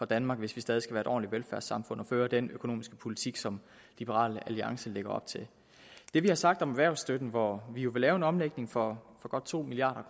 danmark hvis vi stadig skal være et ordentligt velfærdssamfund at føre den økonomiske politik som liberal alliance lægger op til det vi har sagt om erhvervsstøtten hvor vi jo vil lave en omlægning for godt to milliard